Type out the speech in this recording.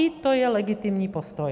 I to je legitimní postoj.